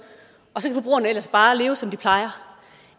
og så kan forbrugerne ellers bare leve som de plejer